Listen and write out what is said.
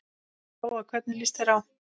Lóa: Hvernig líst þér á?